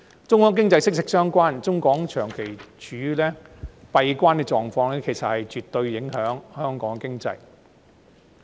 中港經濟息息相關，中港長期處於閉關的狀況，其實絕對影響着香港的經濟。